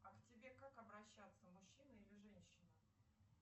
а к тебе как обращаться мужчина или женщина